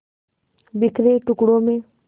बिखरे टुकड़ों में